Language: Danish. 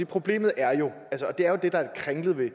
problemet er jo og det er det der er kringlet ved